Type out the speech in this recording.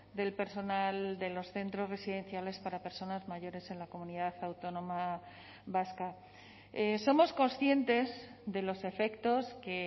del personal de los centros residenciales para personas mayores en la comunidad autónoma vasca somos conscientes de los efectos que